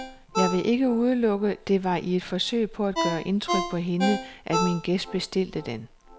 Jeg vil ikke udelukke, det var i et forsøg på at gøre indtryk på hende, at min gæst bestilte den.